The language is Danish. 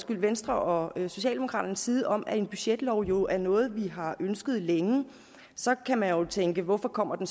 venstres og socialdemokraternes side om at en budgetlov jo er noget vi har ønsket længe så kan man jo tænke hvorfor kommer den